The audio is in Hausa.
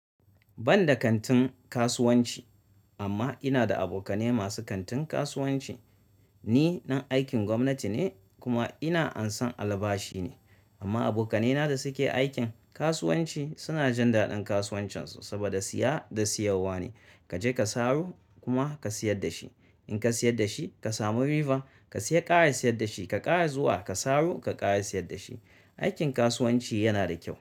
Banda kantin kasuwanci amma ina da aboka nai masu kantin kasuwanci ni dan aikin gwamnati ne kuma ina ansan albashi ne amma abokanai na da suke aikin kasuwanci suna jin daɗin kasuwancin su saboda siya da siyawwa ne. Kaje ka saro kuma ka siyar da shi. In ka siyar da shi ka samu riba ka siya kara siyar da shi ka kara zuwa ka saro ka kara siyar da shi. Aikin kasuwanci yana da kyau.